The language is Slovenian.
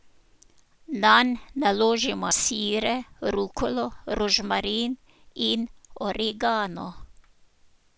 Nanj naložimo sire, rukolo, rožmarin in origano.